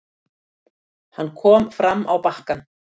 Hann kom fram á bakkann.